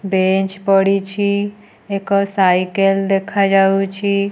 Bench ପଡ଼ିଛି। ଏକ cycle ଦେଖାଯାଉଛି।